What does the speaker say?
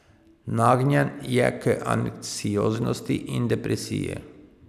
Nagnjen je k anksioznosti in depresiji.